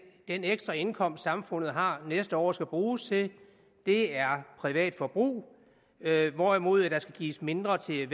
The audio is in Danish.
ekstra indkomst samfundet har næste år skal bruges til er privat forbrug hvorimod der skal gives mindre til